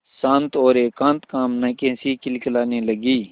शांत और एकांत कामना की हँसी खिलखिलाने लगी